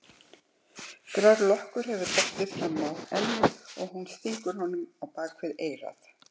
Grár lokkur hefur dottið fram á ennið og hún stingur honum á bak við eyrað.